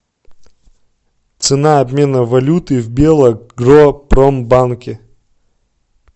цена обмена валюты в белагропромбанке